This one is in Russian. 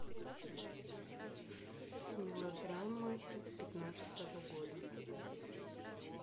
мелодрама пятнадцатого года